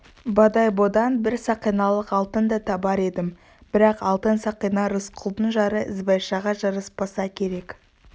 бодойбодан бір сақиналық алтын да табар едім бірақ алтын сақина рысқұлдың жары ізбайшаға жараспаса керек